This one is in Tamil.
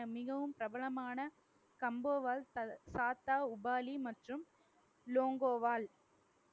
மிகவும் பிரபலமான கம்போவால் சா ~சாத்தா உபாலி மற்றும் லோங்கோவால்